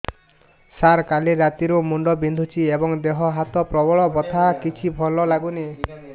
ସାର କାଲି ରାତିଠୁ ମୁଣ୍ଡ ବିନ୍ଧୁଛି ଏବଂ ଦେହ ହାତ ପ୍ରବଳ ବଥା କିଛି ଭଲ ଲାଗୁନି